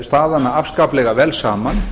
staðanna afskaplega vel saman